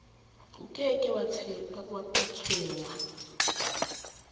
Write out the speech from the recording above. o ke ke wa tshwengwa